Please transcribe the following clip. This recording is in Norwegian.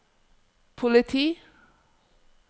politi